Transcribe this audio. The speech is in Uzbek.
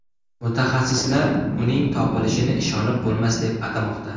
Mutaxassislar uning topilishini ishonib bo‘lmas deb atamoqda.